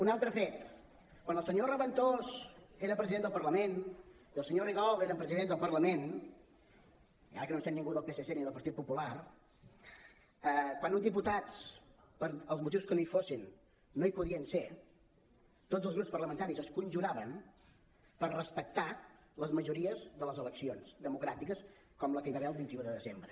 un altre fet quan el senyor raventós era president del parlament i el senyor rigol era president del parlament ara que no em sent ningú del psc ni del partit popular quan uns diputats pels motius que fossin no hi podien ser tots els grups parlamentaris es conjuraven per respectar les majories de les eleccions democràtiques com les que hi va haver el vint un de desembre